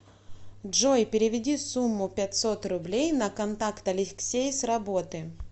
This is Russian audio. джой переведи сумму пятьсот рублей на контакт алексей с работы